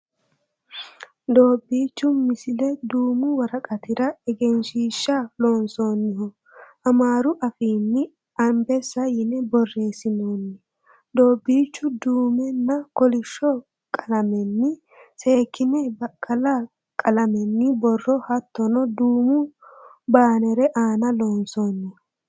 Doobbiichu misile duumu woraqatira egensiiahsha loonsoonniho. Amaaru afiinni anbessa yine borreessinoonni doobbiichu duumenna kolishsho qalamenni seekkine baqqala qalamenni borro hattono duumu baanere aana loonsoonni.